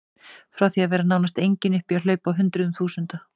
Frá því að vera nánast engin upp í að hlaupa á hundruðum þúsunda.